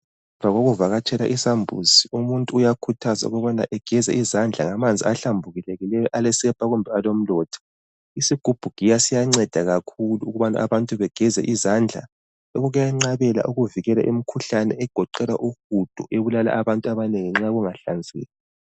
Ngemva kokuvakatshela isambuzi umuntu uyakhuthazwa ukubana egeze izandla ngamanzi ahlambulukileyo alesepa kumbe alomlotha, isigubhugiya siyanceda kakhulu ukubana abantu begeze izandla lokhu kuyenqabela ukuvikela imikhuhlane egoqela uhudo ebulala abantu abanengi ngenxa yokungakungahlanzeki.